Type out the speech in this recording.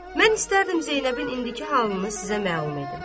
Mən istərdim Zeynəbin indiki halını sizə məlum edim.